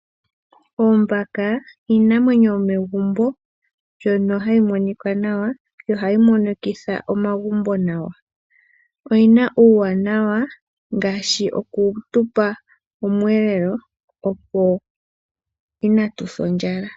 Oombaka iinamwenyo yomegumbo mbyono hayi monika nawa nohayi monikitha omagumbo nawa. Oyina uuwanawa ngaashi okutupa omweelelo twaase ondjala.